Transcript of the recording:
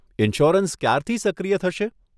Insurance ક્યારથી સક્રિય થશે?